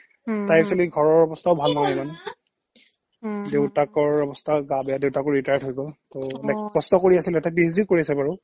তাইৰ actually ঘৰৰ অৱস্থাও ভাল নহয় ইমান দেউতাকৰ অৱস্থাও গা বেয়া দেউতাকো retired হৈ গ'ল টৌ অ like কষ্ট কৰি আছিলে তাই PhD ও কৰি আছে বাৰু